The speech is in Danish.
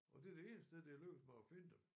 Og det er det ene sted det er lykkedes mig at finde dem